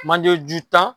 Manjeju tan